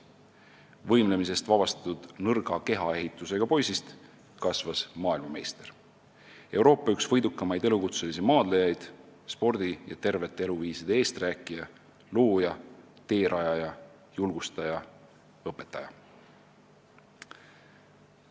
Võimlemisest vabastatud nõrga kehaehitusega poisist kasvas maailmameister, Euroopa üks võidukamaid elukutselisi maadlejaid, spordi ja tervete eluviiside eesträäkija, looja, teerajaja, julgustaja, õpetaja.